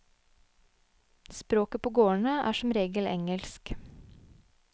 Språket på gårdene er som regel engelsk.